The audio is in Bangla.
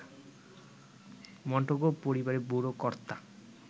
মন্টেগু পরিবারের বুড়ো কর্তা